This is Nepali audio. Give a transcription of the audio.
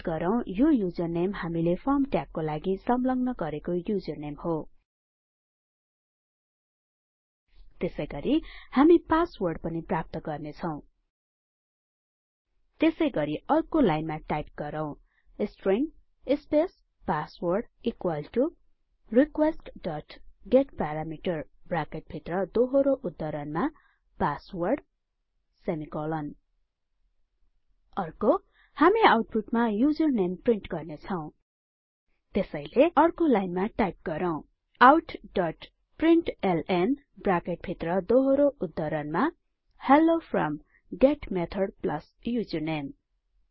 याद गरौँ यो युजरनेम हामीले फर्म ट्याग को लागि संलग्न गरेको युजर नेम हो त्यसैगरी हामी पासवर्ड पनि प्राप्त गर्ने छौ त्यसैगरी अर्को लाइनमा टाइप गरौँ string space password equal to request dot getparameter bracket भित्र दोहोरो उद्धरणमा पासवर्ड सेमिकोलन अर्को हामी आउटपुटमा युजर नेम प्रिन्ट गर्ने छौ त्यसैले अर्को लाइनमा टाइप गरौँ आउट डोट प्रिन्टलन ब्राकेट भित्र दोहोरो उद्धरणमा hello from get method plus username